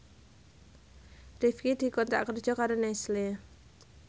Rifqi dikontrak kerja karo Nestle